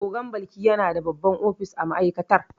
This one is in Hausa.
Ogan Balki yana da babban ofis a ma'aikatar.